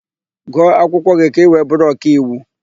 Gụọ akwụkwọ gị ka ị wee bụrụ ọkaiwu!